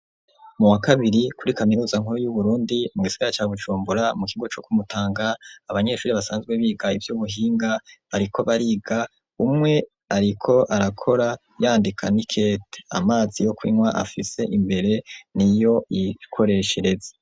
Muwa kabiri kuri kamiruza nkuru y'uburundi mu isigara cya gucumbura mu kigo cyo kumutanga abanyeshuri basanzwe biga ibyubuhinga bariko bariga umwe ariko arakora yandika nikt amazi yo kunywa afise imbere niyo yikoreshereze.